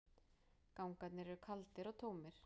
Gangarnir eru kaldir og tómir.